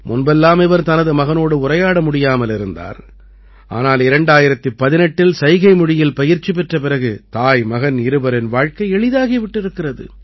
முன்பெல்லாம் இவர் தனது மகனோடு உரையாட முடியாமல் இருந்தார் ஆனால் 2018இல் சைகைமொழியில் பயிற்சி பெற்ற பிறகு தாய்மகன் இருவரின் வாழ்க்கை எளிதாகி விட்டிருக்கிறது